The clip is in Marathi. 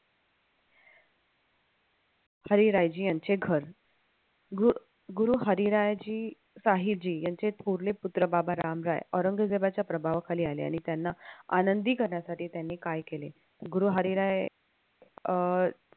हरीरायजी यांचे घर गुरु हरीरायजी यांचे थोरले पुत्र बाबा रामराय औरंगजेबाच्या प्रभावाखाली आले त्यांना आनंदी करण्यासाठी त्यांनी काय केले गुरु हरिराय अह